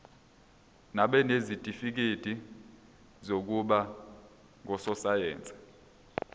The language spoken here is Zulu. nabanezitifikedi zokuba ngososayense